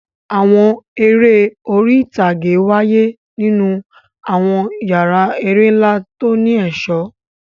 Àwọn eré orí ìtàgé wáyé nínú àwọn yàrá eré ńlá tó ní ẹ̀ṣọ́.